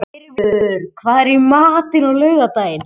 Tyrfingur, hvað er í matinn á laugardaginn?